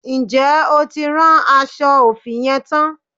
Ǹjẹ́ o ti rán aṣọ òfì yẹn tán?